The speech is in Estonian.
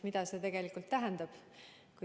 Mida see tegelikult tähendab?